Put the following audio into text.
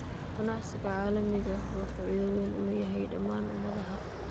Ganacsiga caalamiga ah wuxuu faa'iido weyn u leeyahay dhammaan ummadaha.